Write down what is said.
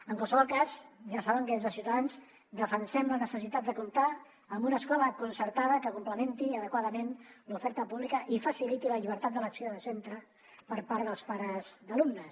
en qualsevol cas ja saben que des de ciutadans defensem la necessitat de comptar amb una escola concertada que complementi adequadament l’oferta pública i faciliti la llibertat d’elecció de centre per part dels pares d’alumnes